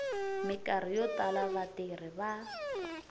mikarhi yo tala vatirhi va